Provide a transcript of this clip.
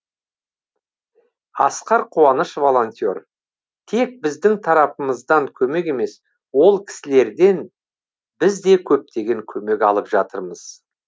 асқар қуаныш волонтер тек біздің тарапымыздан көмек емес ол кісілерден біз де көптеген көмек алып жатырмыз